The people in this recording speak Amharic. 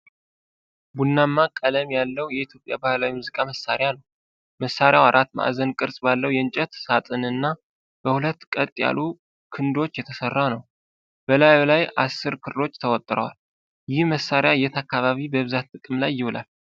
ቡናማ ቀለም ያለው የኢትዮጵያ ባህላዊ የሙዚቃ መሣሪያ ነው። መሣሪያው አራት ማዕዘን ቅርጽ ባለው የእንጨት ሳጥንና በሁለት ቀጥ ያሉ ክንዶች የተሠራ ነው፣ በላዩ ላይ አስር ክሮች ተወጥረዋል፤ ይህ መሣሪያ የት አካባቢ በብዛት ጥቅም ላይ ይውላል?